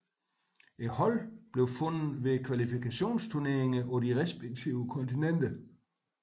Holdene blev fundet ved kvalifikationsturneringer på de respektive kontinenter